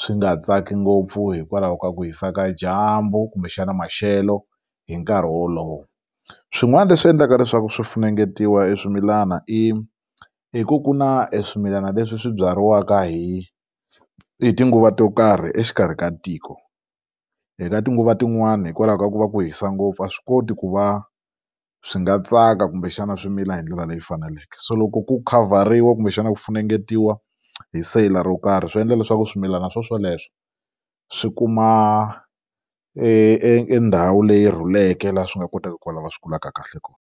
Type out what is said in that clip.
swi nga tsaki ngopfu hikwalaho ka ku hisa ka dyambu kumbexana maxelo hi nkarhi wolowo swin'wana leswi endlaka leswaku swi funengetiwa e swimilana i hi ku ku na e swimilana leswi swi byariwaka hi tinguva to karhi exikarhi ka tiko eka tinguva tin'wana hikwalaho ka ku va ku hisa ngopfu a swi koti ku va swi nga tsaka kumbexana swi mila hi ndlela leyi faneleke so loko ku khavhariwa kumbexana ku funengetiwa hi siyile ro karhi swi endla leswaku swimilana swoswoleswo swi kuma e ndhawu leyi rhuleke laha swi nga kotaka ku va lava swi kulaka kahle kona.